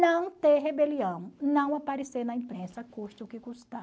Não ter rebelião, não aparecer na imprensa, custe o que custar.